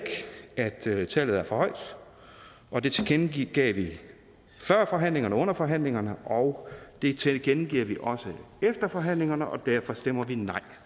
at tallet er for højt og det tilkendegav vi før forhandlingerne og under forhandlingerne og det tilkendegiver vi også efter forhandlingerne og derfor stemmer vi nej